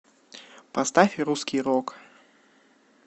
поставь русский рок